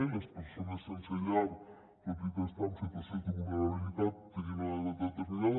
i les persones sense llar tot i estar en situació de vulnerabilitat tenien una edat determinada